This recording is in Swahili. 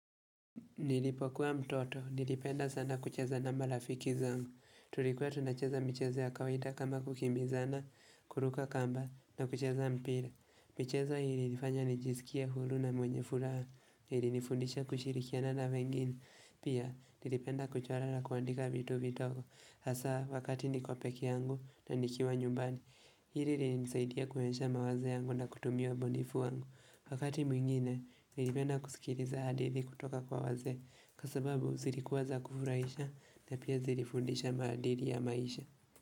Nilipokuwa mtoto, nilipenda sana kucheza na malafiki zangu. Tulikuwa tunacheza michezo ya kawaida kama kukimbizana, kuruka kamba na kucheza mpira. Michezo hii ilinifanya nijisikie hulu na mwenye furaha, ilinifundisha kushirikiana na wengine. Pia, nilipenda kuchora na kuandika vitu vitogo. Hasa, wakati niko peke yangu na nikiwa nyumbani, hili lilinisaidia kunionesha mawazo yangu na kutumia ubunifu wangu. Wakati mwingine nilipenda kusikiriza hadithi kutoka kwa wazee. Kwa sababu zilikuwa za kufurahisha na pia zilifundisha maadili ya maisha.